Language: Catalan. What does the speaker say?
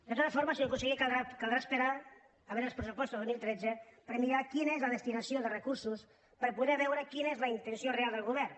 de totes formes senyor conseller caldrà esperar a veu·re els pressupostos del dos mil tretze per mirar quina és la des·tinació de recursos per poder veure quina és la inten·ció real del govern